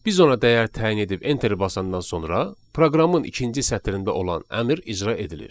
Biz ona dəyər təyin edib enteri basandan sonra proqramın ikinci sətrində olan əmr icra edilir.